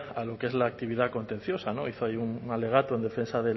a lo que es la actividad contenciosa hizo ahí un alegato en defensa